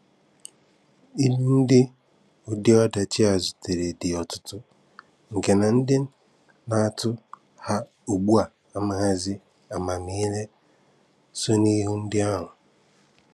Ìlù ndị ụdị ọdachi a zutere dị ọ̀tụ̀tụ̀, nke na ndị na-atù ha ugbua amaghịzị amamihe so n’ìlù ndị ahụ.